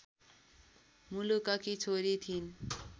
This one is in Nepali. मुलककी छोरी थिइन्